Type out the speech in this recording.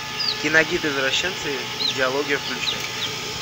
киногид извращенца идеология включай